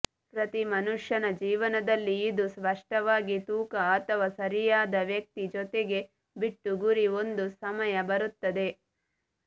ಪ್ರತಿ ಮನುಷ್ಯನ ಜೀವನದಲ್ಲಿ ಇದು ಸ್ಪಷ್ಟವಾಗಿ ತೂಕ ಅಥವಾ ಸರಿಯಾದ ವ್ಯಕ್ತಿ ಜೊತೆಗೆ ಬಿಟ್ಟು ಗುರಿ ಒಂದು ಸಮಯ ಬರುತ್ತದೆ